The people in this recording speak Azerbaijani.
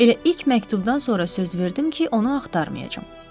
Elə ilk məktubdan sonra söz verdim ki, onu axtarmayacam.